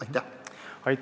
Aitäh!